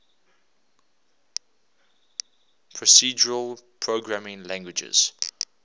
procedural programming languages